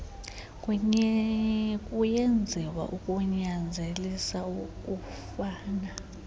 kuyenziwa ukunyanzelisa ukufana